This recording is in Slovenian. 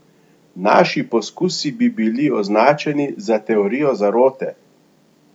Naši poskusi bi bili označeni za teorijo zarote!